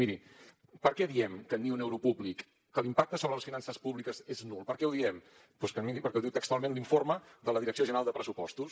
miri per què diem que ni un euro públic que l’impacte sobre les finances públiques és nul per què ho diem doncs miri perquè ho diu textualment l’informe de la direcció general de pressupostos